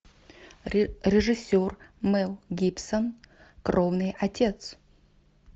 режиссер мэл гибсон кровный отец